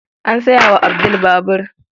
An saya wa Abdul babur.